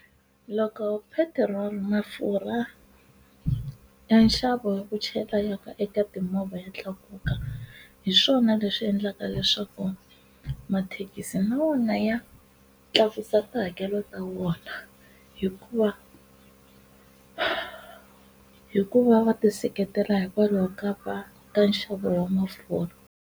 Loko petirolo mafurha ya nxavo ku chayela ka eka timovha ya tlakuka hi swona leswi endlaka leswaku mathekisi na wona ya tsakisa tihakelo ta vona hikuva hikuva va ti seketela hikwalaho ka va ta nxavo wa mafurha.